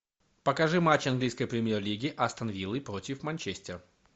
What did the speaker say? покажи матч английской премьер лиги астон виллы против манчестер